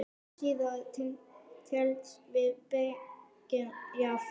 Blásýra telst til beggja flokka.